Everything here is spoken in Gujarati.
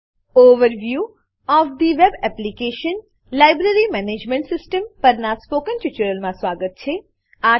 overview of the web application - library management system overview of the web application library management system પરનાં સ્પોકન ટ્યુટોરીયલમાં સ્વાગત છે